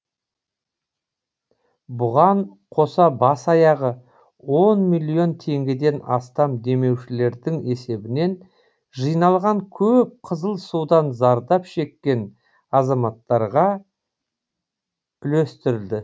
бұған қоса бас аяғы он миллион теңгеден астам демеушілердің есебінен жиналған көп қызыл судан зардап шеккен азаматтарға үлестіріледі